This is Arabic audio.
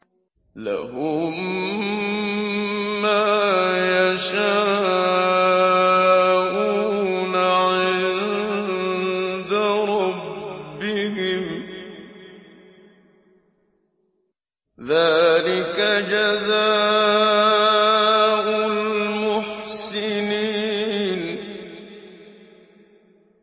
لَهُم مَّا يَشَاءُونَ عِندَ رَبِّهِمْ ۚ ذَٰلِكَ جَزَاءُ الْمُحْسِنِينَ